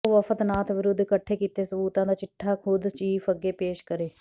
ਉਹ ਵਫ਼ਦ ਨਾਥ ਵਿਰੁੱਧ ਇਕੱਠੇ ਕੀਤੇ ਸਬੂਤਾਂ ਦਾ ਚਿੱਠਾ ਖ਼ੁਦ ਚੀਫ਼ ਅੱਗੇ ਪੇਸ਼ ਕਰੇ